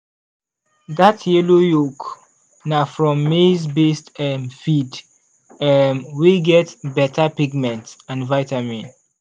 that yellow yolk na from maize-based um feed um wey get better pigment and vitamin.